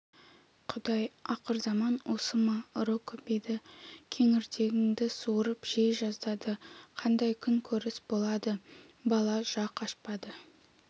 құдай ақырзаман осы ма ұры көбейді кеңірдегіңді суырып жей жаздайды қандай күнкөріс болады бала жақ ашпады